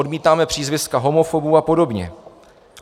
Odmítáme přízviska homofobů a podobně.